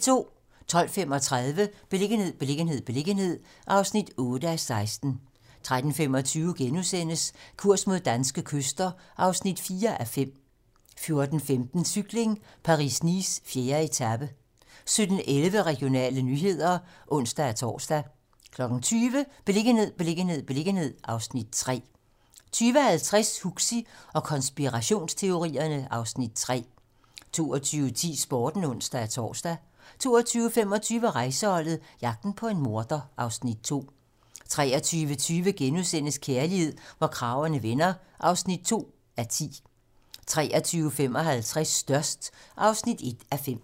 12:35: Beliggenhed, beliggenhed, beliggenhed (8:16) 13:25: Kurs mod danske kyster (4:5)* 14:15: Cykling: Paris-Nice - 4. etape 17:11: Regionale nyheder (ons-tor) 20:00: Beliggenhed, beliggenhed, beliggenhed (Afs. 3) 20:50: Huxi og konspirationsteorierne (Afs. 3) 22:10: Sporten (ons-tor) 22:25: Rejseholdet - jagten på en morder (Afs. 2) 23:20: Kærlighed, hvor kragerne vender (2:10)* 23:55: Størst (1:5)